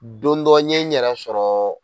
Don dɔ n ye n yɛrɛ sɔrɔ